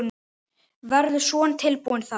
Verður Son tilbúinn þá?